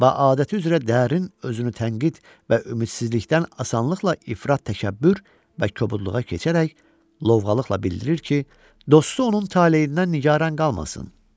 Ba adəti üzrə dərin özünü tənqid və ümidsizlikdən asanlıqla ifrat təkəbbür və kobudluğa keçərək, lovğalıqla bildirir ki, dostu onun taleyindən nigaran qalmasın.